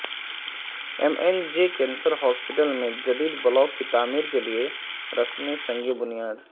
M N J cancer hospital میں جدید block کی تعمیر کیلئے رسم سنگ بنیاد